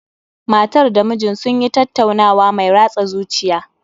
Matar da mijin sun yi tattaunawa mai ratsa zuciya